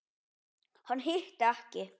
Hann hitti ekki.